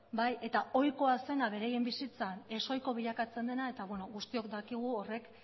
eta ohikoa zena beraien bizitzan ez ohiko bilakatzen dena eta guztiok dakigu horrek